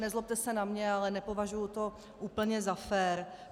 Nezlobte se na mě, ale nepovažuji to úplně za fér.